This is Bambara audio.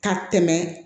Ka tɛmɛ